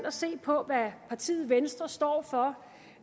at se på hvad partiet venstre står for